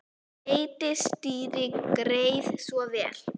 Heitt stýri, gerið svo vel.